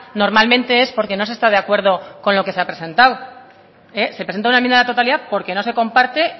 normalmente es porque no se está de acuerdo con lo que se ha presentado se presenta una enmienda a la totalidad porque no se comparte